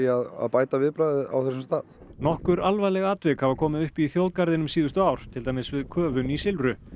að bæta viðbragðið á þessum stað nokkur alvarleg atvik hafa komið upp í þjóðgarðinum síðustu ár til dæmis við köfun í Silfru